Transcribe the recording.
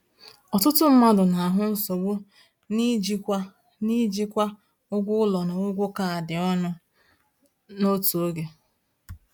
Ọtụtụ mmadụ na-ahụ nsogbu n’ijikwa n’ijikwa ụgwọ ụlọ na ụgwọ kaadị ọnụ n’otu oge.